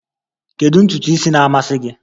Kedu ntutu isi na-amasị gị?